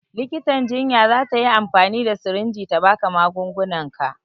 Likitan jinya za ta yi amfani da sirinji ta ba ka magungunanka